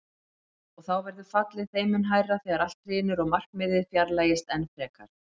Og þá verður fallið þeim mun hærra þegar allt hrynur og markmiðið fjarlægist enn frekar.